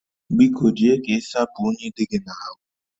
Biko jee ka ị sapụ unyi dị gị n'ahụ